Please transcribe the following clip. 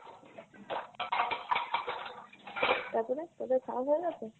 তারপরে তোদের খাওয়া হয়ে গেছে ?